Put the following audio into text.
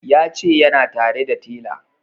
Ya ce yana tare da tela